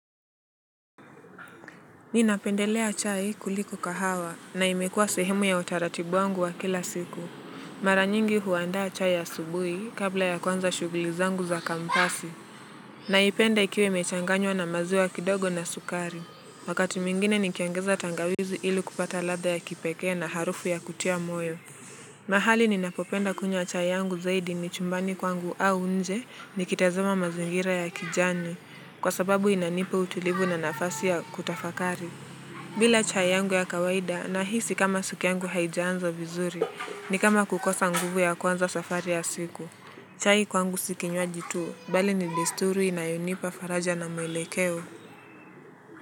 Mimi napendelea chai kuliko kahawa na imekuwa sehemu ya utaratibu wangu wa kila siku. Mara nyingi huandaa chai asubuhi kabla ya kuanza shughuli zangu za kampasi. Naipenda ikiwa imechanganywa na maziwa kidogo na sukari. Wakati mwingine nikiongeza tangawizi ili kupata ladha ya kipekee na harufu ya kutia moyo. Mahali ninapopenda kunywa chai yangu zaidi ni chumbani kwangu au nje nikitazama mazingira ya kijani. Kwa sababu inanipa utulivu na nafasi ya kutafakari. Bila chai yangu ya kawaida nahisi kama siku yangu haijaanza vizuri, ni kama kukosa nguvu ya kuanza safari ya siku. Chai kwangu si kinywaji tu, bali ni desturi inayonipa faraja na mwelekeo.